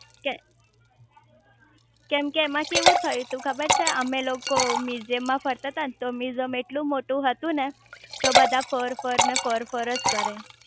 કેમકે કેમ એમાં કેવું થયું તું ખબર છે અમે લોકો મ્યુઝીયમ માં ફરતા તા ને તો મ્યુઝીયમ એટલું મોટું હતું ને તો બધા ફર ફર ને ફર ફર જ કરે